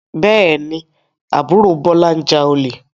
Bẹ́ẹ̀ ni, àbúrò Bọ́lá ń ja olè.